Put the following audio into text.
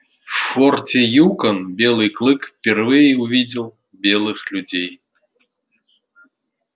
в форте юкон белый клык впервые увидел белых людей